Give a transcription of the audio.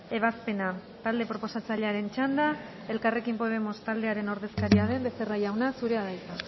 ebazpena talde proposatzailearen txanda elkarrekin podemos taldearen ordezkaria den becerra jauna zurea da hitza